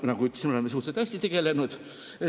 Nagu ütlesin, me oleme suhteliselt hästi sellega tegelenud.